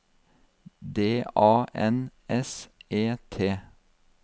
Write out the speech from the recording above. D A N S E T